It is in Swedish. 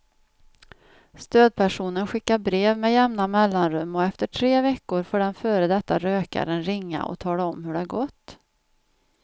Stödpersonen skickar brev med jämna mellanrum och efter tre veckor får den före detta rökaren ringa och tala om hur det gått.